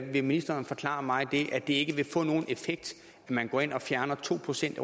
ministeren forklare mig at det ikke vil få nogen effekt at man går ind og fjerner to procent